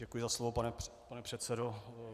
Děkuji za slovo, pane předsedo.